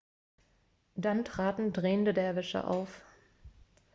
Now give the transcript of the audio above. dann traten drehende derwische auf